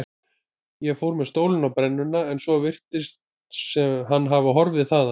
Ég fór með stólinn á brennuna en svo virðist hann hafa horfið þaðan.